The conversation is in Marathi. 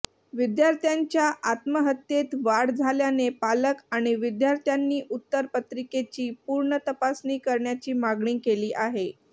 विद्यार्थ्यांच्या आत्महत्येत वाढ झाल्याने पालक आणि विद्यार्थ्यांनी उत्तर पत्रिकेची पुनर्तपासणी करण्याची मागणी केली आहे